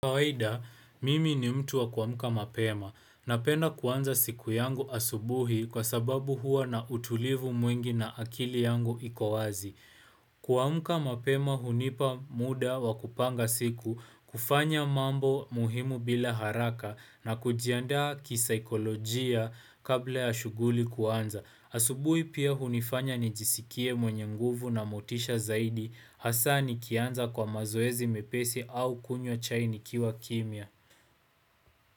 Kawaida, mimi ni mtu wa kuamuka mapema. Napenda kuanza siku yangu asubuhi kwa sababu huwa na utulivu mwingi na akili yangu ikowazi. Kuamuka mapema hunipa muda wa kupanga siku, kufanya mambo muhimu bila haraka na kujiandaa kisaikolojia kabla ya shuguli kuanza. Asubui pia hunifanya nijisikie mwenye nguvu na motisha zaidi, hasa ni kianza kwa mazoezi mepesi au kunywa chai nikiwa kimia.